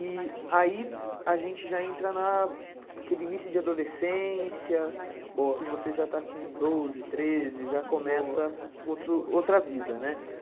E aí a gente já entra naquele início de adolescência, que você já tá com doze, treze, já começa outra vida, né?